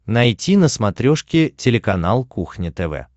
найти на смотрешке телеканал кухня тв